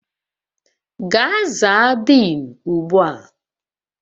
Gaa zaa Denu ugbu a!